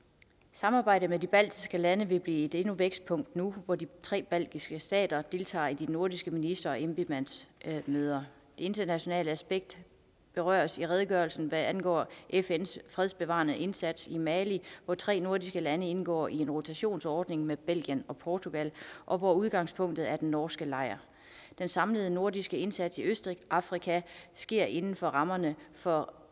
samarbejdet med de baltiske lande vil blive et vækstpunkt nu hvor de tre baltiske stater deltager i de nordiske minister og embedsmandsmøder det internationale aspekt berøres i redegørelsen hvad angår fns fredsbevarende indsats i mali hvor tre nordiske lande indgår i en rotationsordning med belgien og portugal og hvor udgangspunktet er den norske lejr den samlede nordiske indsats i østafrika sker inden for rammerne for